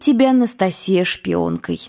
тебя анастасия шпионкой